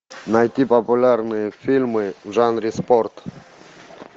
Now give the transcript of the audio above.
найти популярные фильмы в жанре спорт